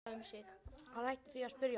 Hann hætti því að spyrja.